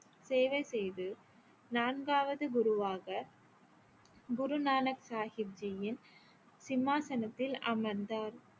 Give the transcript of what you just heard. சேவை செய்து நான்காவது குருவாக குரு நானக் சாஹிப் ஜியின் சிம்மாசனத்தில் அமர்ந்தார்